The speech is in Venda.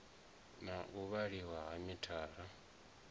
na u vhaliwa ha mithara